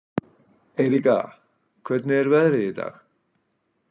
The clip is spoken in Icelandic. Eiríka, hvernig er veðrið í dag?